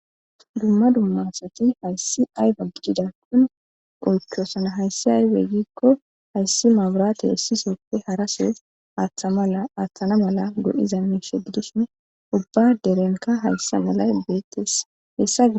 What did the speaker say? dumma dummasati hayssi ayfa gidida kun oychoosana hayssi ayfe gikko hayssi maaburaate essisoppe harasees aaththa mala aaththana mala go7iza miisheddusune ubba derenka hayssa malay beettessa hessa